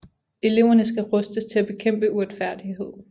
Eleverne skal rustes til at bekæmpe uretfærdighed